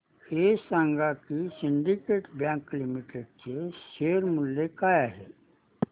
हे सांगा की सिंडीकेट बँक लिमिटेड चे शेअर मूल्य काय आहे